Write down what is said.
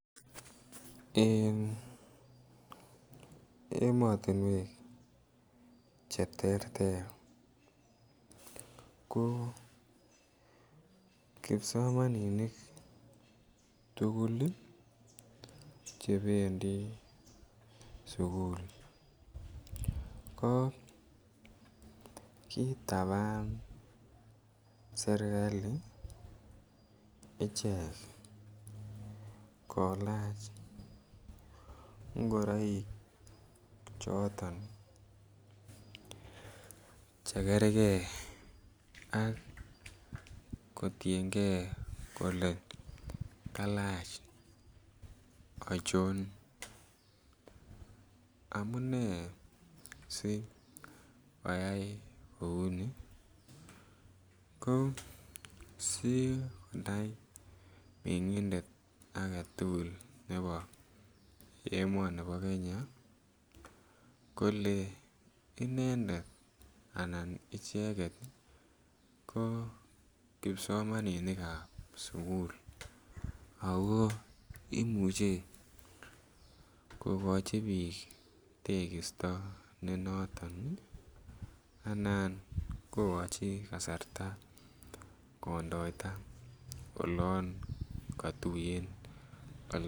En emotinwek che terter ko kipsomaninik tuguk ii chebendi sukul ko kitaban serkali ichek kolach ngoroik choton che gergee ak kotiengee kolee kalach ochon amunee si koyay kou nii si konai mengindet agetugul nebo emonibo Kenya kolee inendet anan icheget ko kipsomaninikab sukul ako imuche kogochi biik tekisto ne noton ii anan kogochi kasarta kondoita olon kotuyen